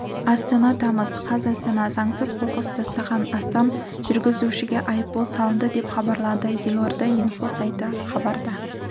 астана тамыз қаз астанада заңсыз қоқыс тастаған астам жүргізушіге айыппұл салынды деп хабарлады елордаинфо сайты хабарда